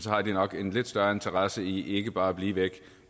har de nok en lidt større interesse i ikke bare at blive væk